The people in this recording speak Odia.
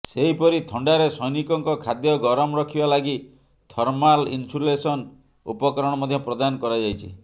ସେହିପରି ଥଣ୍ଡାରେ ସୈନିକଙ୍କ ଖାଦ୍ୟ ଗରମ ରଖିବା ଲାଗି ଥର୍ମାଲ ଇନସୁଲେସନ ଉପକରଣ ମଧ୍ୟ ପ୍ରଦାନ କରାଯାଇଛି